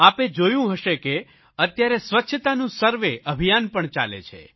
આપે જોયું હશે કે અત્યારે સ્વચ્છતાનું સર્વે અભિયાન પણ ચાલે છે